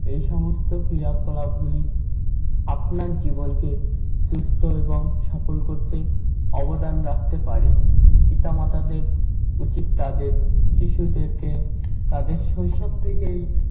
এই সমস্ত ক্রিয়াকলাপ গুলি আপনার জীবনকে সুস্থ এবং সফল করতে অবদান রাখতে পারে। পিতামাতাদের উচিত তাদের শিশুদেরকে তাদের শৈশব থেকেই